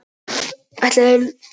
Ætlaði Lúlli að koma?